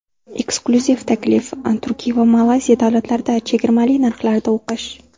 Eksklyuziv taklif: Turkiya va Malayziya davlatlarida chegirmali narxlarda o‘qish!.